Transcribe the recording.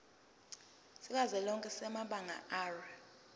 sikazwelonke samabanga r